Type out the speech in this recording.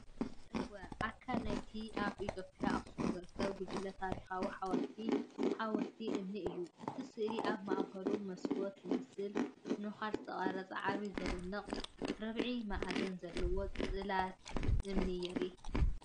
እወ! ኣካል ናይቲ ኣብ ኢትዮጵያ ኣኽሱም ዝርከብ ጉጅለ ታሪኻውን ሓወልታውን ሓወልትታት እምኒ እዩ። እቲ ስእሊ፡ ኣብ ማእከሉ መስኮት ዝመስል ነዃል ዝተቐርጸ ዓቢን ዝድነቕን ርብዒ-መኣዝን ዘለዎ ጽላት እምኒ የርኢ።